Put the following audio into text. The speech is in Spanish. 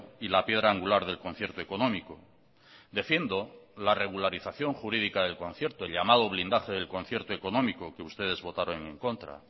y la piedra angular del concierto económico defiendo la regularización jurídica del concierto llamado blindaje del concierto económico que ustedes votaron en contra